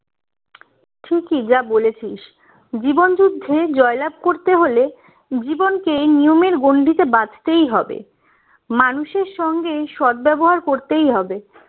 ঠিকই যা বলেছিস জীবন যুদ্ধে জয়লাভ করতে হলে জীবনকে নিয়মের গণ্ডিতে বাঁধতেই হবে মানুষের সঙ্গে সদ্ব্যবহার করতেই হবে